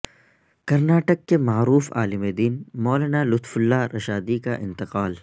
کرناٹک کے معروف عالم دین مولانا لطف اللہ رشادی کا انتقال